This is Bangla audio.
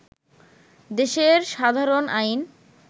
দেশের সাধারণ আইন